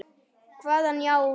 Kvað hann já við.